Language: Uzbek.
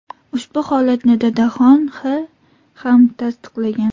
Ushbu holatni Dadaxon X. ham tasdiqlagan.